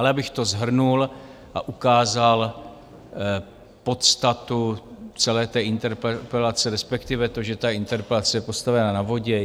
Ale abych to shrnul a ukázal podstatu celé té interpelace, respektive to, že ta interpelace je postavena na vodě.